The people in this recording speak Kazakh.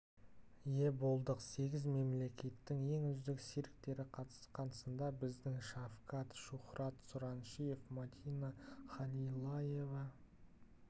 ие болдық сегіз мемлекеттің ең үздік цирктері қатысқан сында біздің шавкад шухрат сұраншиев мадина халилаева